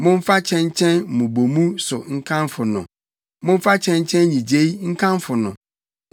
momfa kyɛnkyɛn mmobɔmu so nkamfo no, momfa kyɛnkyɛn nnyigyei nkamfo no.